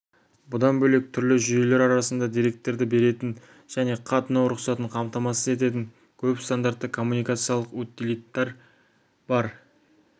бұдан бөлек түрлі жүйелер арасында деректерді беретін және қатынау рұқсатын қамтамасыз ететін көп стандартты коммуникациялық утилиттер бар